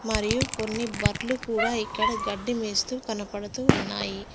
మరియు కొన్ని బర్లు కూడా ఇక్కడ గడ్డి మేస్తూ కనపడుతూ ఉన్నాయి.